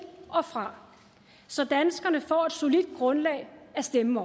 og fra så danskerne får et solidt grundlag at stemme